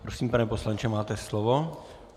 Prosím, pane poslanče, máte slovo.